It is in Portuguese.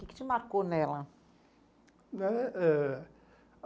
O que que te marcou nela? Eh eh